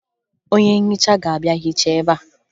Onye nhicha ga-abịa hichaa ebea